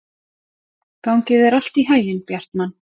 Gangi þér allt í haginn, Bjartmann.